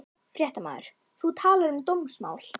Fréttamaður: Þú talar um dómsmál?